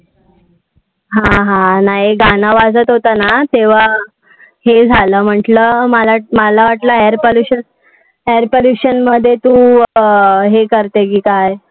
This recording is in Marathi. हा हा. नै गाण वाजत होत ना तेव्हा, हे झाल म्हटल, मला वाटल air pollution मध्ये तू हे करते कि काय?